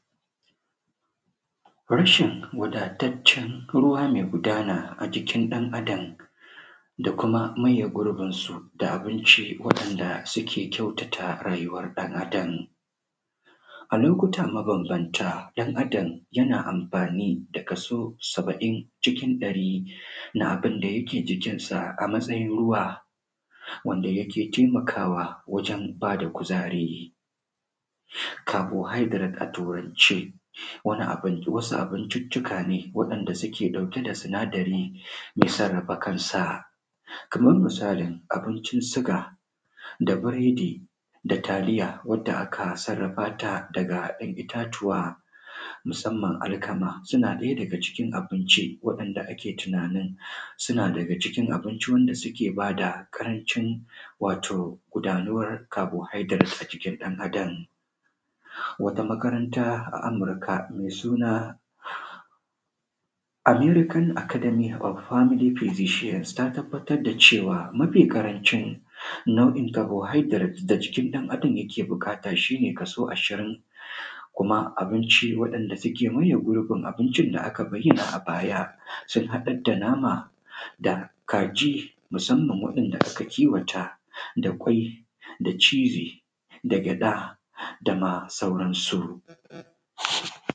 rashin wadataccen ruwa me gudana a jikin ɗan adam da kuma maye gurbin su da abinci wanda suke kyautata rayyuwar ɗan adam a lokuta mabambanta, ɗan adam yana amfani da kaso saba’in cikin ɗari na abun da yake jikin sa a matsayin ruwa wanda yake taimakwa wajen bada kuzari carbohydrate a turance wani abu wasu abunciccika ne wa'enda suke dauke da sinadari mai tsarrafa kansa, kamar misali abuncin siga da biredi da taliya wadda aka sarrafa ta daga en itatuwa, musamman alkama suna ɗaya daga cikin abinci waɗanda ake tunanin suna daga cikin abinci wanda suke bada ƙarancin wato gudanuwar carbohydrate a jikin ɗan adam, wata makaranta a Amurika, mai suna American Academy of family physicians ta tabatar da cewa mafi ƙarancin nau’in carbohydrate da jikin ɗan adam yake buƙata shi ne kaso ashirin, kuma abinci wadanda suke maye gurbin abinci da aka bayyana a baya, sun haɗa da nama da kaji musamman waɗanda ake kiwata da kwai da cizi da gyaɗa da ma sauransu.